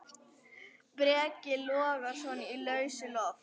Breki Logason: Í lausu loft?